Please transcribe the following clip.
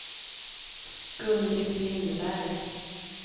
Gun-Britt Lindberg